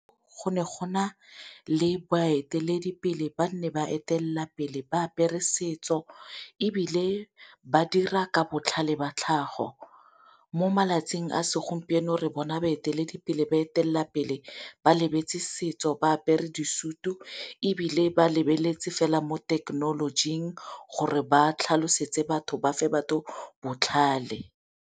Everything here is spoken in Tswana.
Go ne go na le baeteledipele ba nne ba etelela pele ba apere setso ebile ba dira ka botlhale ba tlhago. Mo malatsing a segompieno re bona baeteledipele ba etelela pele ba lebetse setso ba apere disutu ebile ba lebeletse fela mo thekenolojing gore ba tlhalosetse batho ba fe batho botlhale.